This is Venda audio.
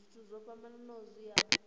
zwithu zwo fhambanaho zwi a